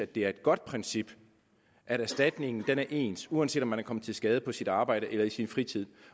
det er et godt princip at erstatningen er ens uanset om man er kommet til skade på sit arbejde eller i sin fritid